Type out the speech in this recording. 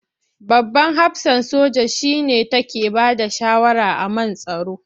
Babban hafsan soja shi ne take bada shawara a man tsaro.